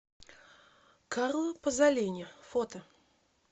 карло пазолини фото